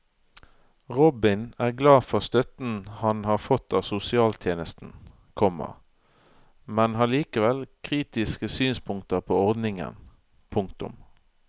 Robin er glad for støtten han har fått av sosialtjenesten, komma men har likevel kritiske synspunkter på ordningen. punktum